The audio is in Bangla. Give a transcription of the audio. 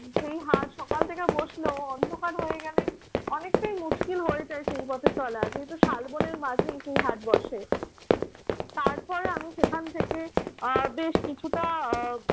সেই হাট সকাল থেকে বসলেও অন্ধকার হয়ে গেলে অনেকটাই মুশকিল হয়ে যায় সেই পথে চলা। যেহেতু শালবনের মাঝে সেই হাট বসে। তারপর আমি সেখান থেকে আহ বেশ কিছুটা আহ